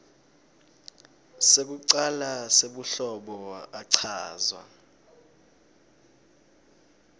sekucala sebuhlobo achazwa